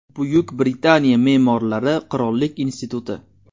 Buyuk Britaniya me’morlari qirollik instituti.